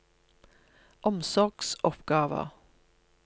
omsorgsoppgaver